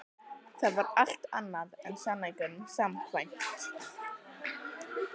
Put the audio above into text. Það var allt annað en sannleikanum samkvæmt.